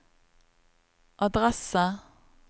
adresse